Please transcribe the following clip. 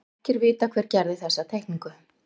Ekki er vitað hver gerði þessa teikningu.